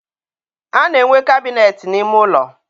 a na-enwe kabịnet n'ime ụlọ.